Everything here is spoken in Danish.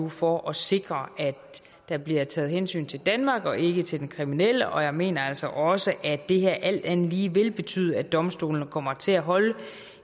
for at sikre at der bliver taget hensyn til danmark og ikke til den kriminelle jeg mener altså også at det her alt andet lige vil betyde at domstolene kommer til at holde